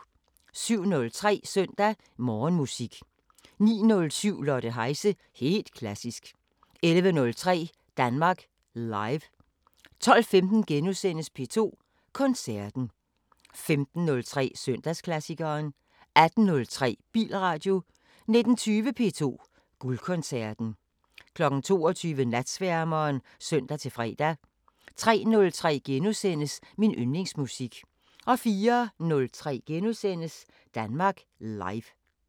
07:03: Søndag Morgenmusik 09:07: Lotte Heise – helt klassisk 11:03: Danmark Live 12:15: P2 Koncerten * 15:03: Søndagsklassikeren 18:03: Bilradio 19:20: P2 Guldkoncerten 22:00: Natsværmeren (søn-fre) 03:03: Min yndlingsmusik * 04:03: Danmark Live *